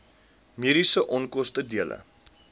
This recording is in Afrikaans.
mediese onkoste dele